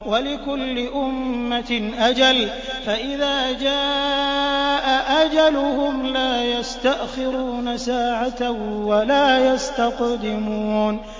وَلِكُلِّ أُمَّةٍ أَجَلٌ ۖ فَإِذَا جَاءَ أَجَلُهُمْ لَا يَسْتَأْخِرُونَ سَاعَةً ۖ وَلَا يَسْتَقْدِمُونَ